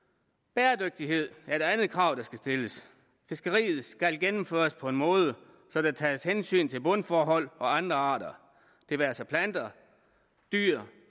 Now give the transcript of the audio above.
bæredygtighed er et andet krav der skal stilles fiskeriet skal gennemføres på en måde så der tages hensyn til bundforhold og andre arter det være sig planter dyr